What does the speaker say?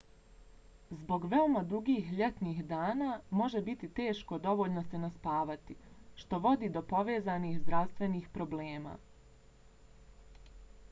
zbog veoma dugih ljetnih dana može biti teško dovoljno se naspavati što vodi do povezanih zdravstvenih problema